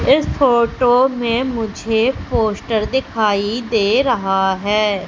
इस फोटो में मुझे पोस्टर दिखाई दे रहा है।